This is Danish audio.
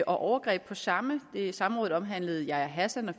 overgreb på samme samrådet omhandlede yahya hassan og